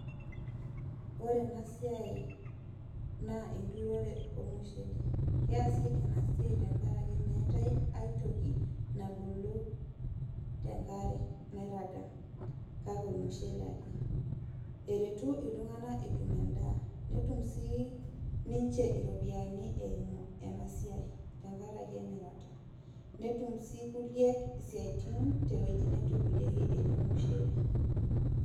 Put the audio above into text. Ore ena siai naa enturore olmushele. Keesi ena siai tenkaraki meetai aitoki tenkare nairaga kake olmushele ake. Eretu iltunganak peetum endaa, netum siininje iropiyiani eumu ena siai, tenkaraki emirata. Netum sii kulie isiatin tewoji netuturieki ele mushele.